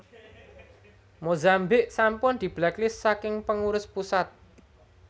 Mozambik sampun diblacklist saking pengurus pusat